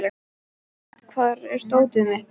Rafn, hvar er dótið mitt?